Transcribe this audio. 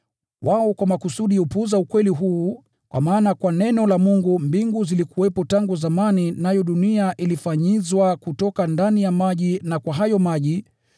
Lakini wao kwa makusudi hupuuza ukweli huu, ya kwamba kwa neno la Mungu mbingu zilikuwepo tangu zamani, nayo dunia ilifanyizwa kutoka ndani ya maji na kwa maji.